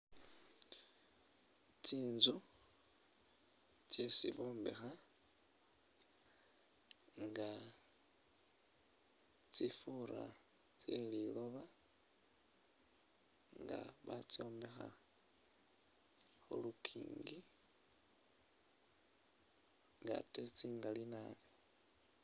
Tsinzu tsesi bombekha nga tsifura tse liloba nga batsombekha khu lukiingi nga ate tsingali nabi.